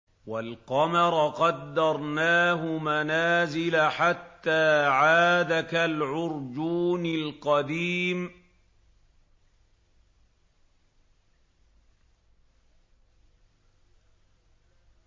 وَالْقَمَرَ قَدَّرْنَاهُ مَنَازِلَ حَتَّىٰ عَادَ كَالْعُرْجُونِ الْقَدِيمِ